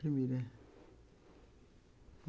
Primeira.